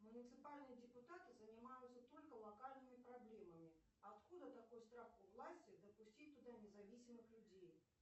муниципальные депутаты занимаются только локальными проблемами откуда такой страх у власти допустить туда независимых людей